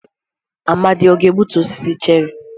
Amadi ga-egbutu osisi cherrị?